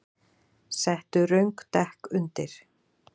Settu röng dekk undir